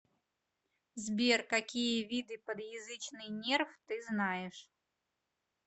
сбер какие виды подъязычный нерв ты знаешь